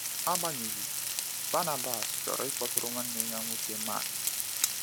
Agbanyeghị, Barnabas chọrọ ịkpọtụrụ nwanne ya nwoke Mark.